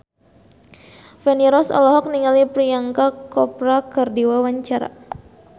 Feni Rose olohok ningali Priyanka Chopra keur diwawancara